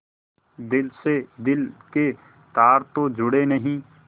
दिल से दिल के तार तो जुड़े नहीं